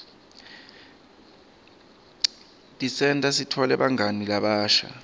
tisenta sitfole bangani labasha